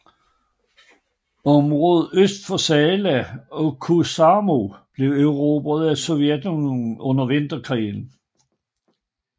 Området øst for Salla og Kuusamo blev erobret af Sovjetunionen under Vinterkrigen